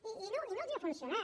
i no no els ha funcionat